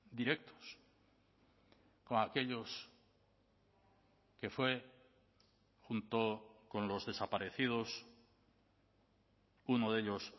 directos con aquellos que fue junto con los desaparecidos uno de ellos